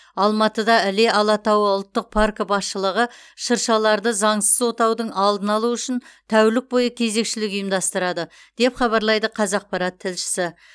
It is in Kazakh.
алматыда іле алатауы ұлттық паркі басшылығы шыршаларды заңсыз отаудың алдын алу үшін тәулік бойы кезекшілік ұйымдастырады деп хабарлайды қазақпарат тілшісі